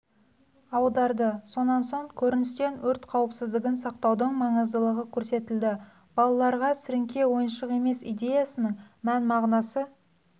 аударды сонан соң көріністен өрт қауіпсіздігін сақтаудың маңыздылығы көрсетілді балаларға сіріңке ойыншық емес идеясының мән-мағынасы